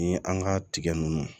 Ni an ka tigɛ nunnu